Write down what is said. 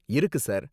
இருக்கு சார்.